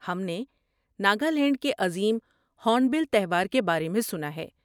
ہم نے ناگالینڈ کے عظیم ہورنبل تہوار کے بارے میں سنا ہے۔